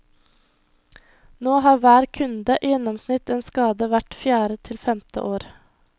Nå har hver kunde i gjennomsnitt en skade hvert fjerde til femte år.